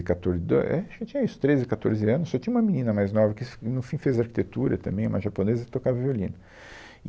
catorze, do, é, acho que eu tinha isso, treze, catorze anos, só tinha uma menina mais nova que, no fim, fez arquitetura também, uma japonesa que tocava violino.